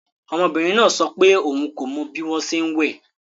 Ọmọbìnrin náà sọ pé òun kò mọ bí wọ́n ṣe ń wẹ̀